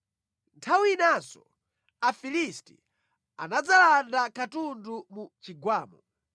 Nthawi inanso Afilisti anadzalanda katundu mu Chigwamo.